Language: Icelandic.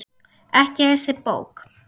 Ekki þessi bók.